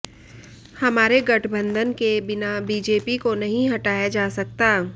हमारे गठबंधन के बिना बीजेपी को नहीं हटाया जा सकता है